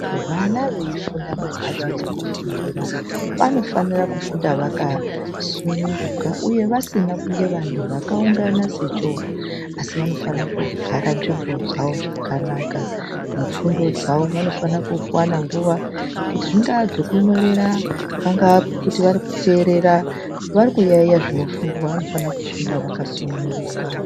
Vana veifunda mumhatso dzekufundira vanofanira kufunda vakasununguka uye vasina kunge vantu vakaungana sechowa , asi vanofana kugara nzvimbo dzawo zvakanaka mufundo dzawo. Vanofana kuwana nguwa kuti zvinga zvekunyorera pangaa kuti varikuteerera varikuyaiya zvinofundwa vanofana kufunda vakasununguka.